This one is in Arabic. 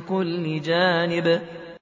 كُلِّ جَانِبٍ